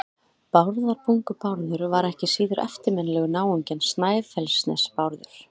Bárðarbungu-Bárður var ekki síður eftirminnilegur náungi en Snæfellsnes-Bárður.